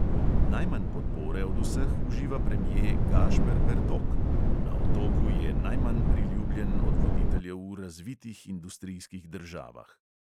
Najmanj podpore od vseh uživa premje gašper bertok: na otoku je najmanj priljubljen od voditeljev v razvitih industrijskih državah.